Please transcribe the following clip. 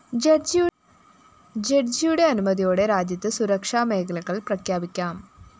ജഡ്ജിയുടെ അനുമതിയോടെ രാജ്യത്ത് സുരക്ഷാ മേഖലകള്‍ പ്രഖ്യാപിക്കാം